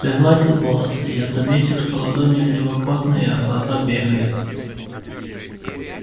пригладил волосы я заметил что ладони у него потные а глаза бегают